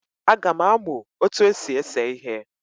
Aga m amu otu esi ese ihe